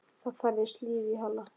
Það færðist líf í Halla.